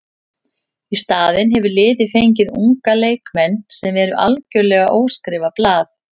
Í staðinn hefur liðið fengið unga leikmenn sem eru algjörlega óskrifað blað.